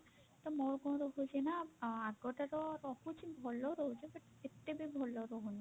ତ ମୋର କଣ ରହୁଛି ନା ଆ ଆଗ ଟାର ରହୁଛି ଭଲ ରହୁଛି but ଏତେ ବି ଭଲ ରହୁନି